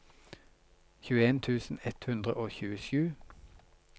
tjueen tusen ett hundre og tjuesju